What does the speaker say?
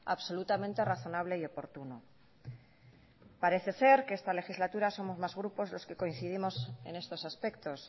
absolutamente razonable y oportuno parece ser que esta legislatura somos más grupos los que coincidimos en estos aspectos